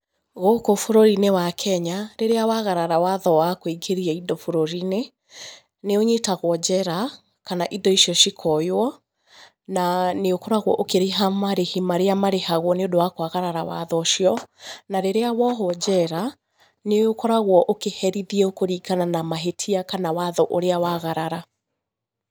Gũkũ bũrũri-inĩ wa Kenya, rĩrĩa wagarara watho wa kũingĩria indo bũrũri inĩ, nĩ ũnyitagwo njera, kana indo icio cikoywo, na nĩ ũkoragwo ũkĩrĩha marĩhi marĩa marĩhagwo nĩ ũndũ wa kũagarara watho ũcio, na rĩrĩa wohũo njera nĩ ũkoragwo ũkĩherithio kũringana na mahĩtia kana watho ũrĩa waagarara.